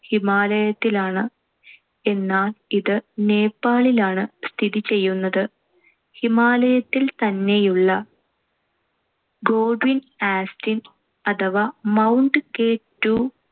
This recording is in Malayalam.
ഹിമാലയത്തിലാണ്‌. എന്നാൽ ഇത് നേപ്പാളിലാണ്‌ സ്ഥിതി ചെയ്യുന്നത്. ഹിമാലയത്തിൽ തന്നെയുള്ള Godwin austen അഥവാ മൌണ്ട് K ടു